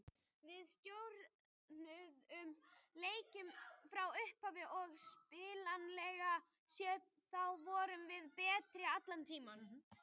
Við stjórnuðum leiknum frá upphafi og spilanlega séð þá vorum við betri allan tímann.